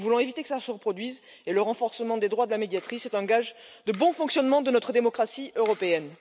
Nous voulons éviter que cela se reproduise et le renforcement des droits de la Médiatrice est un gage de bon fonctionnement de notre démocratie européenne.